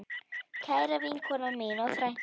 Kæra vinkona mín og frænka.